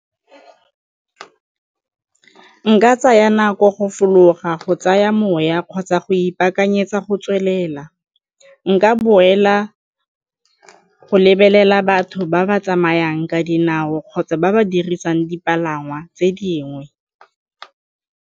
Nka tsaya nako go fologa go tsaya moya kgotsa go ipakanyetsa go tswelela, nka boela go lebelela batho ba ba tsamayang ka dinao kgotsa ba ba dirisang dipalangwa tse dingwe.